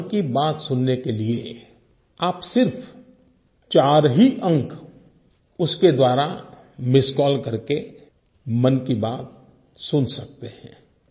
अब मन की बात सुनने के लिए अब सिर्फ 4 ही अंक उसके द्वारा मिस्ड कॉल करके मन की बात सुन सकते हैं